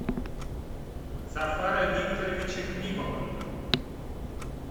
зафара викторовича климова